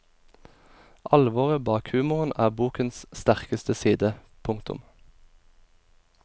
Alvoret bak humoren er bokens sterkeste side. punktum